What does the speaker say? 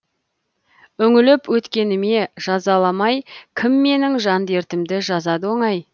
үңіліп өткеніме жазаламай кім менің жан дертімді жазады оңай